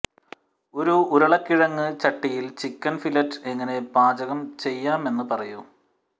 ഒരു ഉരുളക്കിഴങ്ങ് ചട്ടിയിൽ ചിക്കൻ ഫില്ലറ്റ് എങ്ങനെ പാചകം ചെയ്യാമെന്ന് പറയൂ